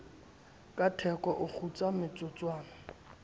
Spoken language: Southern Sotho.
ka theko o kgutsa motsotswana